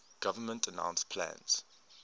government announced plans